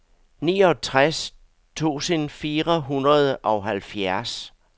niogtres tusind fire hundrede og halvfjerds